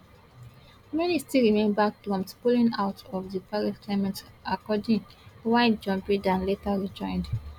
many still remember trump pulling out of di paris climate accord while joe biden later rejoined